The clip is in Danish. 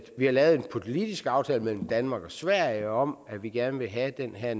vi har lavet en politisk aftale mellem danmark og sverige om at vi gerne vil have den her